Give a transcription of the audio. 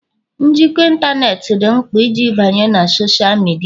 njikọ ịntanetị dị mkpa iji banye na Sọsha midia